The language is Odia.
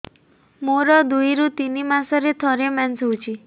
ମୋର ଦୁଇରୁ ତିନି ମାସରେ ଥରେ ମେନ୍ସ ହଉଚି